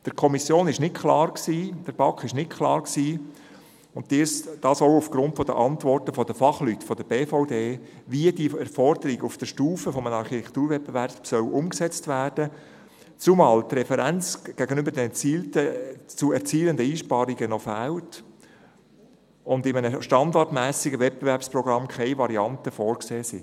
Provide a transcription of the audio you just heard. Der Kommission, der BaK, war nicht klar – und dies auch aufgrund der Antworten der Fachleute der BVD –, wie diese Forderung auf der Stufe eines Architekturwettbewerbs umgesetzt werden soll, zumal die Referenz gegenüber den zu erzielenden Einsparungen noch fehlt und in einem standardmässigen Wettbewerbsprogramm keine Varianten vorgesehen sind.